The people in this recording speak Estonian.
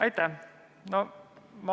Aitäh!